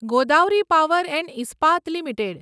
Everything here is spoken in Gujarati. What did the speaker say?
Godavari power and Ispat limited